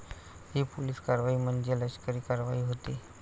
हि पोलीस कारवाई म्हणजे लष्करी कारवाई होती.